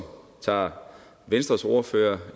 tog venstres ordfører